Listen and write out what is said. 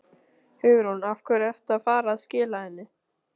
Hugrún: Af hverju ertu að fara að skila henni?